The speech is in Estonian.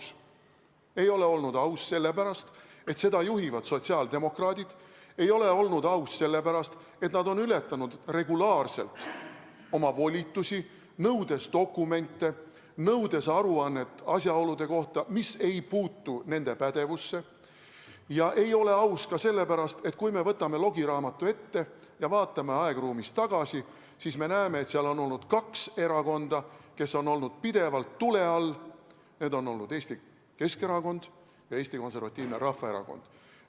See ei ole olnud aus sellepärast, et seda juhivad sotsiaaldemokraadid, see ei ole olnud aus sellepärast, et nad on ületanud regulaarselt oma volitusi, nõudes dokumente, nõudes aruannet asjaolude kohta, mis ei puutu nende pädevusse, ja see ei ole aus ka sellepärast, et kui me võtame logiraamatu ette ja vaatame aegruumis tagasi, siis me näeme, et kaks erakonda on olnud seal pidevalt tule all, need on olnud Eesti Keskerakond ja Eesti Konservatiivne Rahvaerakond.